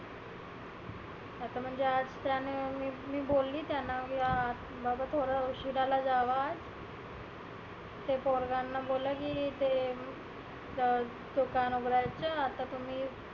आता म्हणजे त्यानी मी बोलली त्यांना की बाबा थोड उशिरानी जावा ते पोरांना बोलला की ते ज तु का नाही बोलायचं आता तुम्ही